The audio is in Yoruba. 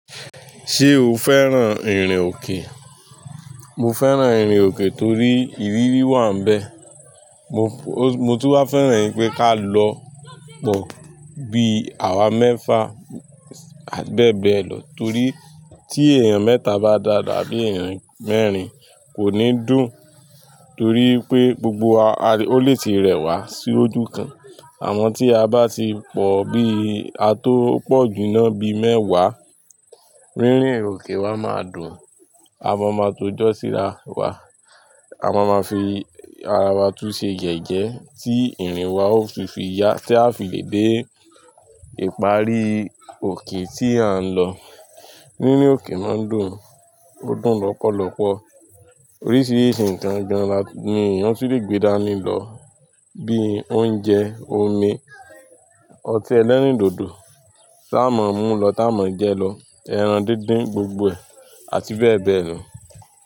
Ṣé o fẹ́ràn ìrìn òkè? Mo fẹ́ràn ìrìn òkè torí ìrírí wà níbẹ̀. Mo, mo tún máa fẹ́ràn pé ká lọ pọ̀ bí àwa mẹ́fa ati bẹ́ẹ̀ bẹ́ẹ̀ lọ. Torí tí èèyàn mẹ́ta bá dáadáa abí èèyàn mẹ́rin kò ní dùn. Torí pé gbogbo wa, o lè ti rẹwà sí ojú kan. Àmọ́ tí a bá ti pọ̀ bí a tó pọ̀ jù ná bí mẹ́wàá, rírìn òkè wa máa dùn. A máa mọ to jọ síra wà, a máa ma fi ara wa tún ṣe yẹ́yẹ́ tí ìrìn wa ó tun fi yá tí a fi lè dé ìparí òkè tí à ń lọ. Nínú òkè máa ń dùn, ó dùn lọ́pọ̀lọpọ̀. Oríṣìíríṣìí nǹkan gan là ni èèyàn ti lè gbé dání lọ bí i oúnjẹ, omi, ọtí ẹlẹ́rìndòdò, tá a mọ ń mú lọ tá a mọ ń jẹ lọ, ẹran díndín gbogbo ẹ̀ àti bẹ́ẹ̀ bẹ́ẹ̀ lọ.